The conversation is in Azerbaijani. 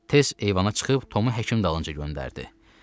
Tez eyvana çıxıb Tomu həkim dalınca göndərdi.